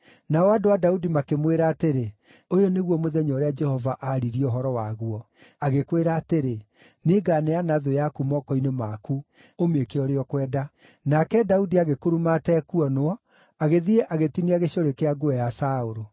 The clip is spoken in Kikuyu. Nao andũ a Daudi makĩmwĩra atĩrĩ, “Ũyũ nĩguo mũthenya ũrĩa Jehova aaririe ũhoro waguo, agĩkwĩra atĩrĩ, ‘Nĩnganeana thũ yaku moko-inĩ maku ũmĩĩke ũrĩa ũkwenda.’ ” Nake Daudi agĩkuruma atekuonwo, agĩthiĩ agĩtinia gĩcũrĩ kĩa nguo ya Saũlũ.